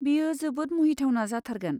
बेयो जोबोद मुहिथावना जाथारगोन।